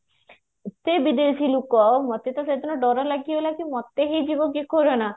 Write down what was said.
ଏତେ ବିଦେଶୀ ଲୋକ ମତେ ତ ସେଦିନ ଡର ଲାଗିଗଲା କି ମତେ ହେଇଯିବ କି କୋରୋନା